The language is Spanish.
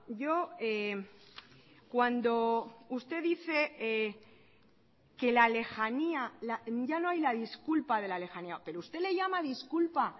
yo cuando usted dice que la lejanía ya no hay la disculpa de la lejanía pero usted le llama disculpa